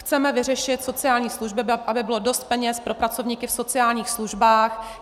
Chceme vyřešit sociální služby, aby bylo dost peněz pro pracovníky v sociálních službách.